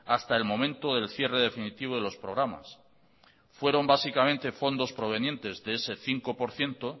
hasta el momento del cierre definitivo de los programas fueron básicamente fondos provenientes de ese cinco por ciento